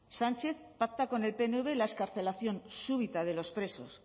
sánchez pacta con el pnv la excarcelación súbita de los presos